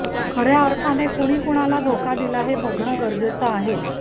खऱ्या अर्थाने कुणी कुणाला धोका दिला हे बघणे गरजेचे आहे